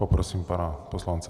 Poprosím pana poslance.